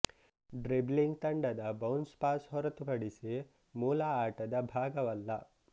dribbling ತಂಡದ bounce pass ಹೊರತುಪಡಿಸಿ ಮೂಲ ಆಟದ ಭಾಗವಲ್ಲ